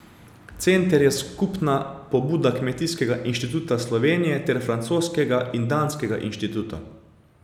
Center je skupna pobuda Kmetijskega inštituta Slovenije ter francoskega in danskega inštituta.